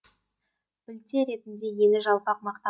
білте ретінде ені жалпақ мақта